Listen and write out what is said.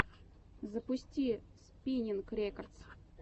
запусти спиннинг рекордс